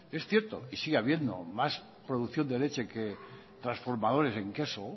es cierto y sigue habiendo más producción de leche que transformadores en queso